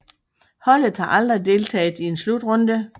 Holdet har aldrig deltaget i en slutrunde